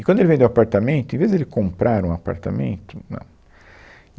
E quando ele vendeu o apartamento, em vez dele comprar um apartamento, não.